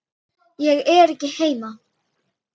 Ég er ekki heima